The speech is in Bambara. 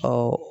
Ɔ